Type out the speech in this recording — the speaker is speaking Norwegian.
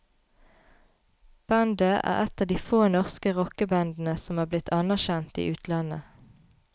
Bandet er et av de få norske rockebandene som er blitt anerkjent i utlandet.